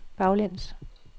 baglæns